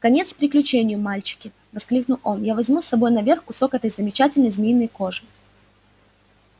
конец приключению мальчики воскликнул он я возьму с собой наверх кусок этой замечательной змеиной кожи